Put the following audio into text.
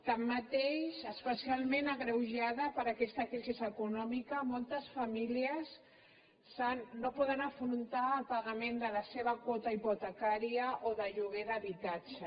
tanmateix especialment agreujada per aquesta crisi econòmica moltes famílies no poden afrontar el pagament de la seva quota hipotecària o de lloguer d’habitatge